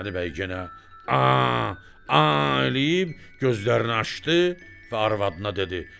Qurbanəli bəy yenə eləyib, gözlərini açdı və arvadına dedi: